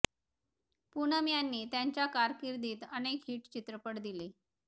पूनम यांनी त्यांच्या कारकिर्दीत अनेक हिट चित्रपट दिले